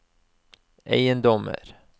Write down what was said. eiendommer